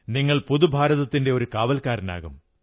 നിങ്ങൾ പുതുഭാരതത്തിന്റെ ഒരു കാവൽക്കാരനാകും